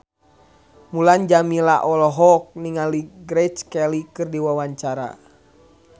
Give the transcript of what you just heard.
Mulan Jameela olohok ningali Grace Kelly keur diwawancara